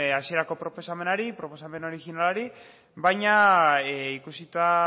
hasierako proposamenari proposamen originalari baina ikusita